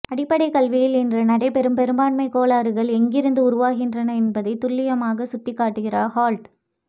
அடிப்படை கல்வியில் இன்று நடைபெறும் பெரும்பான்மை கோளாறுகள் எங்கிருந்து உருவாகின்றன என்பதை துல்லியமாக சுட்டிகாட்டுகிறார் ஹோல்ட்